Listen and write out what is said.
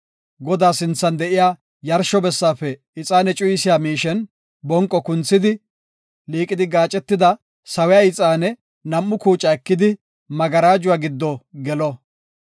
Godaa sinthan de7iya yarsho bessaafe ixaane cuyisiya miishen bonqo kunthidi, liiqidi gaacetida sawiya ixaane nam7u kuuca ekidi magarajuwa giddo gelo.